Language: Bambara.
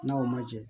N'a o ma jɛ